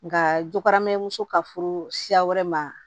Nka jokaramɔso ka furu siya wɛrɛ ma